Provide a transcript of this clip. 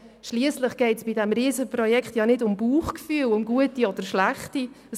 Schliesslich geht es bei diesem Riesenprojekt nicht ums gute oder schlechte Bauchgefühl;